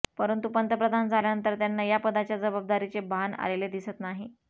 परंतु पंतप्रधान झाल्यानंतर त्यांना या पदाच्या जबाबदारीचे भान आलेले दिसत नाही